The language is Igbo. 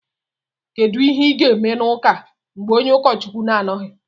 kedu ihe ga-eme n’ụka mgbe onye ụkọchukwu na-anọghị